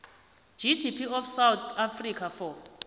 gdp of south africa for